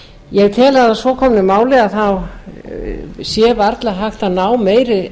ég tel að að svo komnu máli sé varla hægt að ná meiri